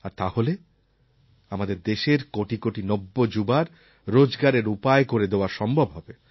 আর তাহলে আমাদের দেশের কোটি কোটি নব্য যুবার রোজগারের উপায় করে দেওয়া সম্ভব হবে